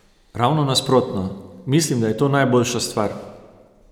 Ravno nasprotno: "Mislim, da je to najboljša stvar.